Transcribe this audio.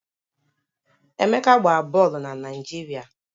Emeka gbara bọọlụ na Naịjirịa